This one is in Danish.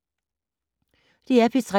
DR P3